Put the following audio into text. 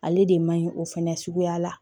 Ale de man ɲi o fɛnɛ suguya la